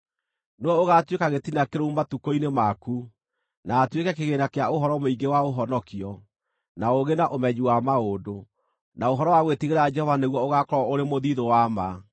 Nĩwe ũgaatuĩka gĩtina kĩrũmu matukũ-inĩ maku, na atuĩke kĩgĩĩna kĩa ũhoro mũingĩ wa ũhonokio, na ũũgĩ, na ũmenyi wa maũndũ; na ũhoro wa gwĩtigĩra Jehova nĩguo ũgaakorwo ũrĩ mũthiithũ wa ma.